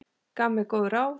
Gaf mér góð ráð.